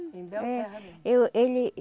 Em Belterra mesmo? Eu ele